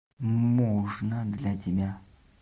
можно для тебя